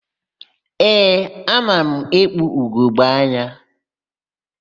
Ee, ana m ekpu ugogbeanya.